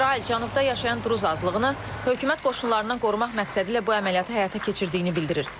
İsrail cənubda yaşayan druz azlığını hökumət qoşunlarından qorumaq məqsədilə bu əməliyyatı həyata keçirdiyini bildirir.